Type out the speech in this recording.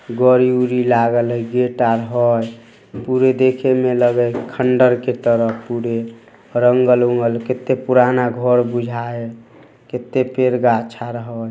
घडी उड़ी लागल हई। गेट आर हई पुरे देखे में लग है खंडहर के तरह पुरे रंगल ओंगल | केते पुराना घर बुझा हे केते पेड़ गाछ आर हई।